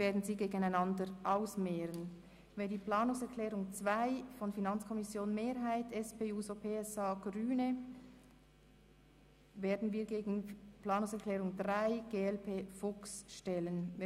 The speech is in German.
Nun stellen wir die Planungserklärung 2 von FiKo-Mehrheit, SP-JUSO-PSA und Grüne der Planungserklärung 3 von der glp und Grossrat Fuchs gegenüber.